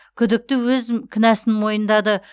күдікті өз кінәсін мойындады